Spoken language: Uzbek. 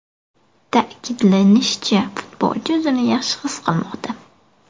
Ta’kidlanishicha, futbolchi o‘zini yaxshi his qilmoqda.